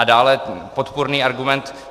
A dále podpůrný argument.